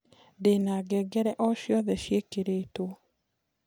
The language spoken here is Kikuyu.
ndĩna ngengere o cĩothe cĩĩkĩrĩtwo